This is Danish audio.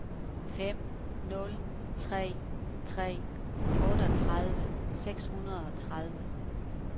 fem nul tre tre otteogtredive seks hundrede og tredive